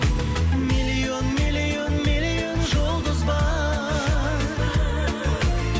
миллион миллион миллион жұлдыз бар